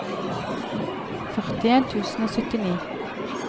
førtien tusen og syttini